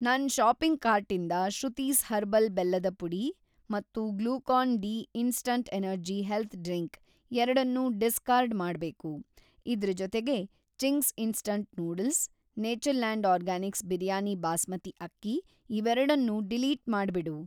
ನನ್‌ ಷಾಪಿಂಗ್‌ ಕಾರ್ಟಿಂದ ಶ್ರುತೀಸ್ ಹರ್ಬಲ್ ಬೆಲ್ಲದ ಪುಡಿ ಮತ್ತು Glucon D instant energy health drink ಎರಡನ್ನೂ ಡಿಸ್ಕಾರ್ಡ್‌ ಮಾಡ್ಬೇಕು. ಇದ್ರ ಜೊತೆಗೆ Ching's instant noodles, Natureland Organics biryani basmati ಅಕ್ಕಿ ಇವೆರಡ್ನೂ ಡಿಲೀಟ್‌ ಮಾಡ್ಬಿಡು.